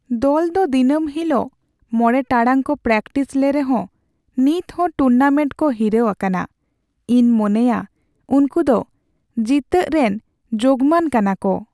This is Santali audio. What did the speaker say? ᱫᱚᱞ ᱫᱚ ᱫᱤᱱᱟᱹᱢ ᱦᱤᱞᱚᱜ ᱕ ᱴᱟᱲᱟᱝ ᱠᱚ ᱯᱨᱮᱠᱴᱤᱥ ᱞᱮ ᱨᱮᱦᱚ ᱱᱤᱛᱦᱚᱸ ᱴᱩᱨᱱᱟᱢᱮᱱᱴ ᱠᱚ ᱦᱤᱨᱟᱹᱣ ᱟᱠᱟᱱᱟ ᱾ ᱤᱧ ᱢᱚᱱᱮᱭᱟ ᱩᱝᱠᱩ ᱫᱚ ᱡᱤᱛᱟᱹᱜ ᱨᱮᱱ ᱡᱳᱜᱢᱟᱱ ᱠᱟᱱᱟᱠᱩ ᱾